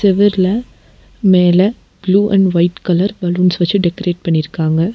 செவுர்ல மேல blue and white colour balloons வெச்சு decorate பண்ணிருக்காங்க.